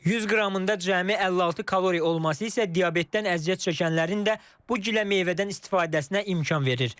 100 qramında cəmi 56 kalori olması isə diabetdən əziyyət çəkənlərin də bu gilə meyvədən istifadəsinə imkan verir.